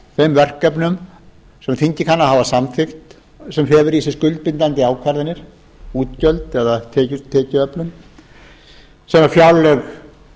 þeim verkefnum sem þingið kann að hafa samþykkt sem felur í sér skuldbindandi ákvarðanir útgjöld eða tekjuöflun sem fjárlög gerðu